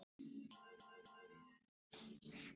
Vel var tekið í það.